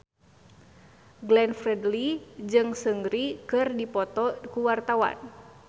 Glenn Fredly jeung Seungri keur dipoto ku wartawan